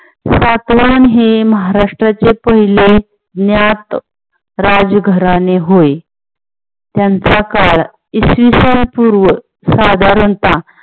सातवहन हे महाराष्ट्राचे पहिले ज्ञात राजघराणे होय. त्यांचा काळ इसवी सन पूर्व साधारणतः